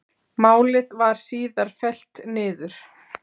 Málið var síðar fellt niður